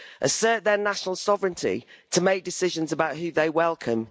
Assert their national sovereignty to make decisions about who they welcome.